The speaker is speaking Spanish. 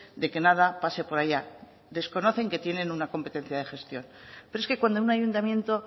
de que nada pase por allá desconocen que tienen una competencia de gestión pero es que cuando un ayuntamiento